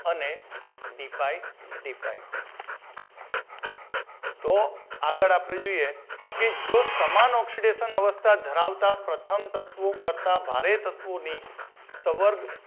અને D pi D pi નો તો આગળ આપડે જોઈએ કે જો તમામ oxidation અવસ્થા ધરાવતા પ્રથમ તત્વો કરતાં ભારે તત્વો ની સવર્ગ